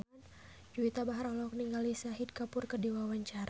Juwita Bahar olohok ningali Shahid Kapoor keur diwawancara